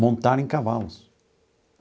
montar em cavalos.